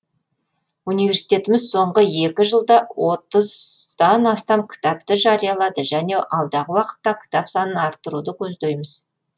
университетіміз соңғы екі жылда отыздан астам кітапты жариялады және алдағы уақытта кітап санын арттыруды көздейміз